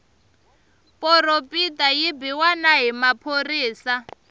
poropita yi biwa na hi maphorisa